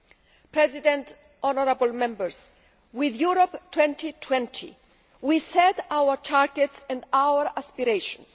Mr President, honourable Members, with Europe 2020, we set our targets and our aspirations.